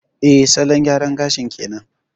Eh, salon gyara gashin kenan.